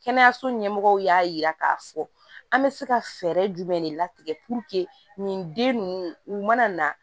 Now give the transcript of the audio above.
Kɛnɛyaso ɲɛmɔgɔw y'a yira k'a fɔ an bɛ se ka fɛɛrɛ jumɛn de latigɛ nin den ninnu u mana na